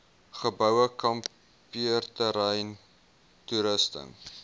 geboue kampeerterrein toerusting